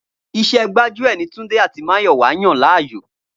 Iṣẹ́ gbájúẹ̀ ni Túndé àti Máyọ̀wá yàn láyò